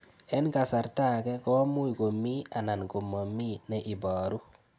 Eng' kasarta ag'e ko much ko mii anan komamii ne ibaru